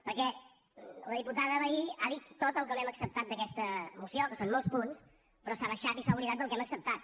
perquè la diputada vehí ha dit tot el que no hem acceptat d’aquesta moció que són molts punts però s’ha deixat i s’ha oblidat del que hem acceptat